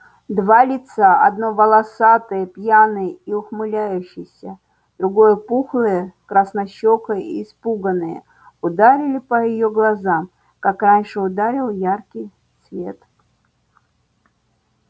два лица одно волосатое пьяное и ухмыляющееся другое пухлое краснощёкое и испуганное ударили по её глазам как раньше ударил яркий свет